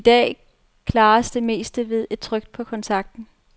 I dag klares det meste ved et tryk på kontakten.